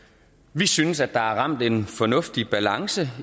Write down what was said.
vi synes at der er ramt en fornuftig balance